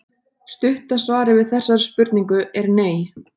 Stutta svarið við þessari spurningu er nei.